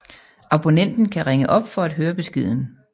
Abonnenten kan ringe op for at høre beskeden